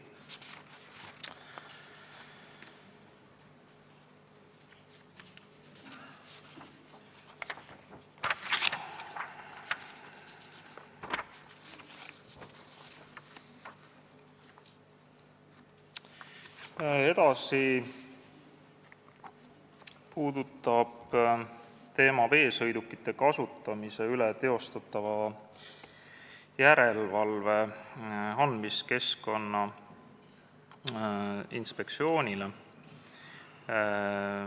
Järgmine teema puudutab veesõidukite kasutamise üle tehtava järelevalve õiguse andmist Keskkonnainspektsioonile.